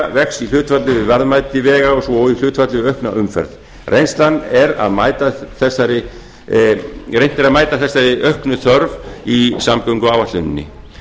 vex í hlutfalli við verðmæti vega svo og í hlutfalli við aukna umferð reynt er að mæta þessari auknu þörf í samgönguáætluninni